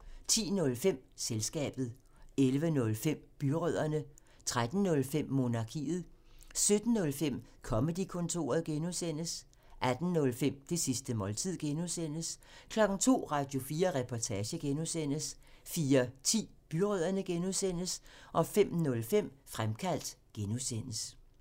10:05: Selskabet 11:05: Byrødderne 13:05: Monarkiet 17:05: Comedy-kontoret (G) 18:05: Det sidste måltid (G) 02:00: Radio4 Reportage (G) 04:10: Byrødderne (G) 05:05: Fremkaldt (G)